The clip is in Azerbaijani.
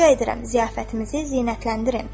Rica edirəm, ziyafətimizi zinətləndirin.